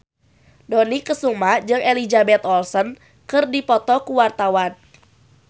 Dony Kesuma jeung Elizabeth Olsen keur dipoto ku wartawan